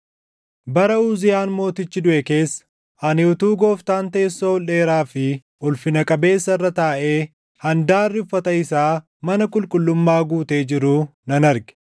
Bara Uziyaan Mootichi duʼe keessa, ani utuu Gooftaan teessoo ol dheeraa fi ulfina qabeessa irra taaʼee, handaarri uffata isaa mana qulqullummaa guutee jiruu nan arge.